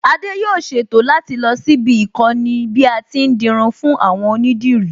Adé yóò ṣètò láti lọ síbi íkọ́ni bí a ti ń dirun fún àwọn onídìrí